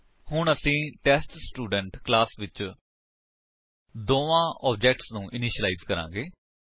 ਹੁਣ ਅਸੀ test student class ਵਿੱਚ ਦੋਵਾਂ ਆਬਜੇਕਟਸ ਨੂੰ ਇਨੀਸ਼ਿਲਾਇਜ ਕਰਾਂਗੇ